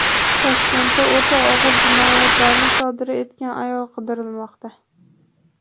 Toshkentda o‘ta og‘ir jinoyatlarni sodir etgan ayol qidirilmoqda.